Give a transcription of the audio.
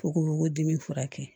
Fo ko dimi furakɛ